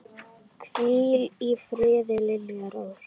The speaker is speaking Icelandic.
Hvíl í friði, Lilja Rós.